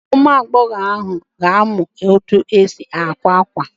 Ụmụagbọghọ ahụ na-amụ etu esi akwa akwa